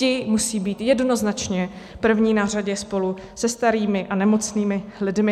Ti musí být jednoznačně první na řadě, spolu se starými a nemocnými lidmi.